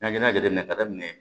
N'an ye jateminɛ daminɛ